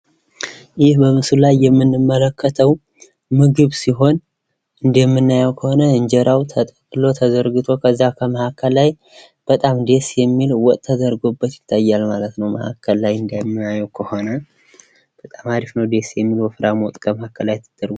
ይህ በምስሉ ላይ የምንመለክተው ምግብ ሲሆን እንደምናየው ከሆነ እንጀራው ተጠቅሎ ተዘርግቶ ከዚያ ከመሀከል ላይ በጣም ደስ የሚል ወጥ ተደርጎበት ይታያል ማለት ነው። መሀከል ላይ እንደማየው ከሆነ በጣም ደሥ የሚል ወጥ ከመሀከል ተደርጎበት...